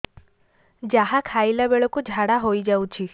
ଯାହା ଖାଇଲା ବେଳକୁ ଝାଡ଼ା ହୋଇ ଯାଉଛି